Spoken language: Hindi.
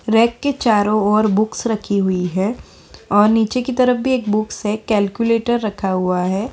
रेक के चारो ओर बुक्स रखी हुई हैं और नीचे की तरफ भी एक बुक्स है और एक कैलकुलेटर रखा हुआ है।